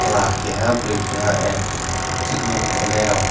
chela keha boroi keha ah treatment kainai rog.